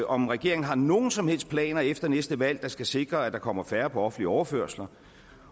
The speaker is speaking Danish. om regeringen har nogen som helst planer efter næste valg der skal sikre at der kommer færre på offentlige overførsler